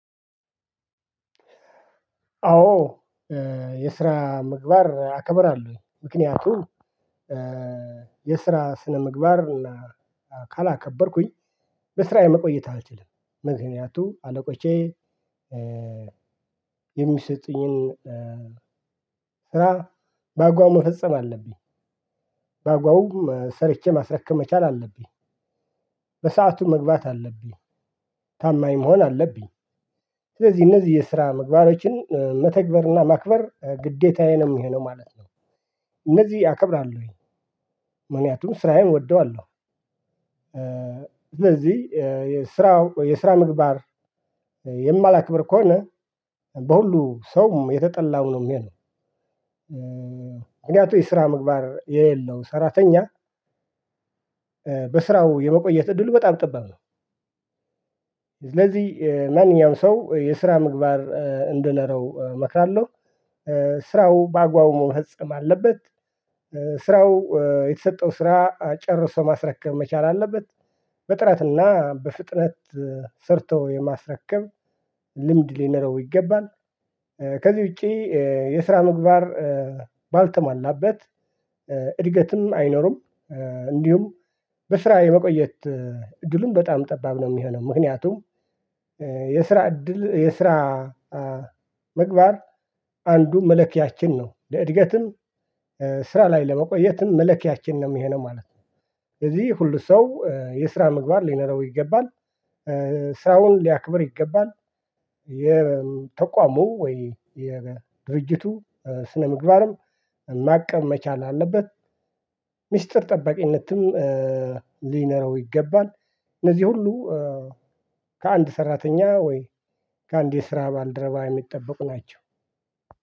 አዎ። የስራ ምግባር አከበራለሁ ምክንያቱም የስራ ስነምግባር እና አካል ካላከበርኩኝ በስራዬ መቆየት አልችልም። ምክንያቱም አለቆቼ የሚሰጡኝን ስራ በአግባቡ መፈጸም አለብኝ። በአግባቡ ሰርቼ ማስረከብ መቻል አለብኝ። በሰአቱ መግባት አለብኝ። ታማኝ መሆን አለብኝ። ስለዚህ እነዚህ የስራ ምግባሮችን መተግበርና ማክበር ግዴታዬንም ይሄ ነው ማለት ነው። እነዚህ ያከብራል ወይ? ምክንያቱም ስራዬን እወደዋለሁ። እነዚህ የስራ የስራ ምግባር የማላክብር ከሆነ በሁሉ ሰውም የተጠላው ነው የሚሆነው። ምክንያቱም የስራ ምግባር የሌለው ሰራተኛ በስራው የመቆየት እድሉ በጣም ጠባብ ነው። ስለዚህ ማንኛውም ሰው የስራ ምግባር እንዲኖረው እመክራለሁ። ስራው በአግባቡ መፈጸም አለበት። ስራው የተሰጠው ስራ ጨርሶ ማስረከብ መቻል አለበት። በጥረትና በፍጥነት ሰርተው የማስረከብ ልምድ ሊኖረው ይገባል። ከዚህ ውጪ የስራ ምግባር ባልተሟላበት እድገትም አይኖርም። እንዲሁም በስራ የመቆየት እድሉን በጣም ጠባብ ነው የሚሆነው። ምክንያቱም የስራ እድል የስራ ምግባር አንዱ መለኪያችን ነው ለእድገትም ስራ ላይ ለመቆየትም መለኪያችን ነው ይሄ ነው ማለት ነው። ስለዚህ ሁሉ ሰው የስራ ምግባር ሊነረው ይገባል። ስራውን ሊያክብር ይገባል። የተቋሙ ወይ የድርጅቱ ስነምግባርም ማቀብ መቻል አለበት። ሚስጥር ጠባቂነትም ሊኖረው ይገባል። እነዚህ ሁሉ ከአንድ ሰራተኛ ወይ ከአንድ የስራ ባልደረባ የሚጠበቁ ናቸው።